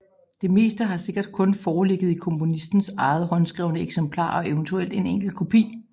Det meste har sikkert kun foreligget i komponistens eget håndskrevne eksemplar og eventuelt en enkelt kopi